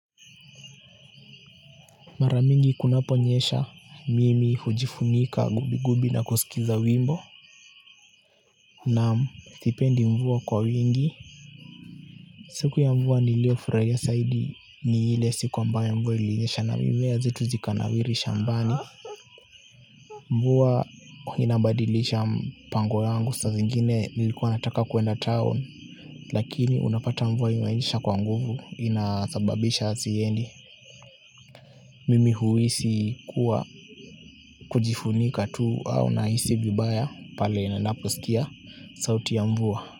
Mara mingi kunaponyesha mimi hujifunika gubi gubi na kusikiza wimbo naam sipendi mvua kwa wingi siku ya mvua nilio furahia zaidi ni ile siku ambao ya mvua ilinyesha na mimea zetu zikanawiri shambani mvua inabadilisha mpango wangu sa zingine nilikuwa nataka kwenda town lakini unapata mvua ilinyesha kwa nguvu inasababisha siendi mimi huhisi kuwa kujifunika tu au nahisi vibaya pale ninaposikia sauti ya mvua.